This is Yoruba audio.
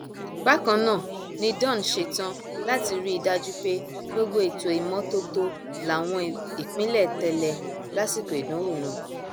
bákan náà ni dawn ṣetán láti rí i dájú pé gbogbo ètò ìmọtótó láwọn ìpínlẹ tẹlẹ lásìkò ìdánwò náà